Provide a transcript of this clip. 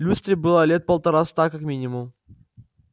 люстре было лет полтораста как минимум